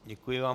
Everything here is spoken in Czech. Děkuji vám.